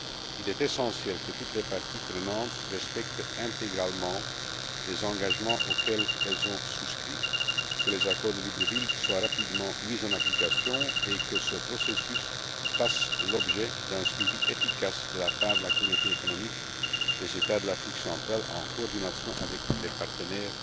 Il est essentiel que toutes les parties prenantes respectent intégralement les engagements auxquels elles ont souscrit, que les accords de Libreville soient rapidement mis en application et que ce processus fasse l'objet d'un suivi efficace de la part de la Communauté économique des États de l'Afrique centrale, en coordination avec les partenaires